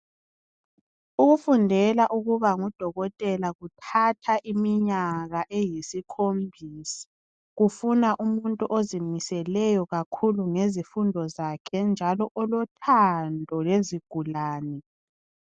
Ukufundela ukuba ngudokotela kuthatha iminyaka eyisikhombisa. Kufuna umuntu ozimiseleyo kakhulu ngezifundo zakhe njalo olothando lezigulane.